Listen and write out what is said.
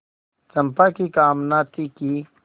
चंपा की कामना थी कि